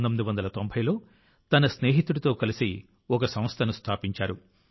1990 లో తన స్నేహితుడితో కలిసి ఒక సంస్థను స్థాపించారు